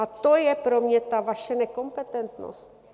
A to je pro mě ta vaše nekompetentnost.